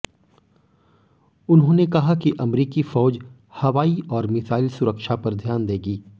उन्होंने कहा कि अमरीकी फ़ौज हवाई और मिसाइल सुरक्षा पर ध्यान देगी